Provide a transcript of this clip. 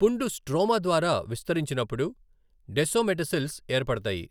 పుండు స్ట్రోమా ద్వారా విస్తరించినప్పుడు డెసోమెటసిల్స్ ఏర్పడతాయి.